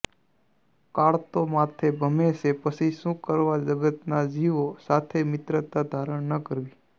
કાળ તો માથે ભમે છે પછી શું કરવા જગતના જીવો સાથે મિત્રતા ધારણ ન કરવી